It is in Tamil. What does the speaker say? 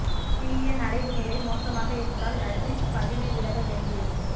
பிஎன் அடைவு நிலை மோசமாக இருந்தால் நஜிப் பதவி விலக வேண்டியிருக்கும்